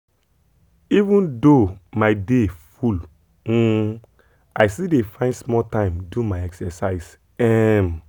even though my day full um i still dey find small time do my exercise. um